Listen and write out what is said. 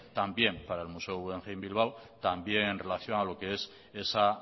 también para el museo guggenheim bilbao también en relación a lo que es esa